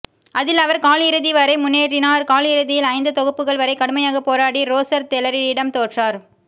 அதில் அவர் கால் இறுதி வரை முன்னேறினார் கால் இறுதியில்ஐந்து தொகுப்புகள் வரை கடுமையாக போராடி ரோசர் தெலரிடம் தோற்றார்